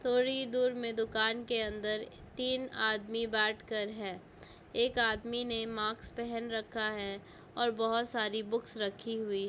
थोड़ी दूर में दुकान के अंदर तीन आदमी बात कर है| एक आदमी ने मास्क पहन रखा है और बहोत सारी बुक्स रखी हुई --